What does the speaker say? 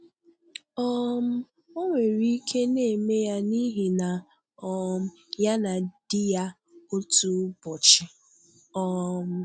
um Ọ nwere ike na-eme ya n’ihi na um ya na di ya, otu ụbọchị. um